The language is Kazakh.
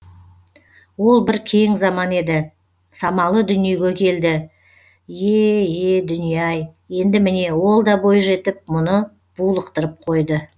ол бір кең заман еді самалы дүниеге келді е е дүние ай енді міне ол да бой жетіп мұны булықтырып қойды